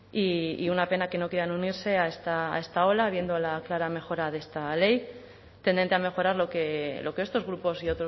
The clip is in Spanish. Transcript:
y una pena que no quieran unirse a esta ola viendo la clara mejora de esta ley tendente a mejorar lo que estos grupos y